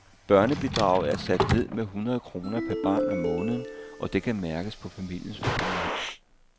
Børnebidraget er sat ned med hundrede kroner per barn om måneden, og det kan mærkes på familiens økonomi.